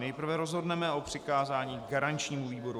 Nejprve rozhodneme o přikázání garančnímu výboru.